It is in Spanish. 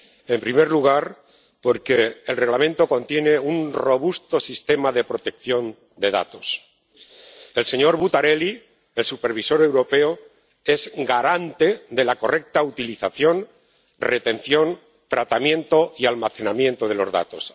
En primer lugar, porque el Reglamento contiene un robusto sistema de protección de datos. El señor Buttarelli —el supervisor europeo de protección de datos es garante de la correcta utilización, retención, tratamiento y almacenamiento de los datos.